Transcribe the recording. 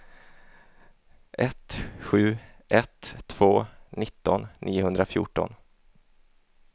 ett sju ett två nitton niohundrafjorton